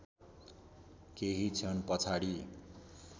केही क्षण पछाडि